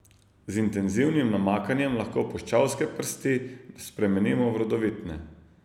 Z intenzivnim namakanjem lahko puščavske prsti spremenimo v rodovitne.